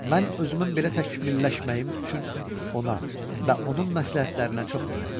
Mən özümün belə təkmilləşməyim üçün ona və onun məsləhətlərinə çox minnətdaram.